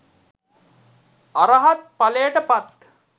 අරහත් ඵලයට පත්